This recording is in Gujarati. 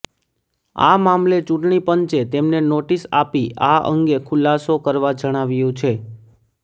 આ મામલે ચૂંટણી પંચે તેમને નોટિસ આપી આ અંગે ખુલાસો કરવા જણાવ્યું છે